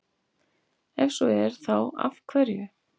Ef svo er, þá af hverju?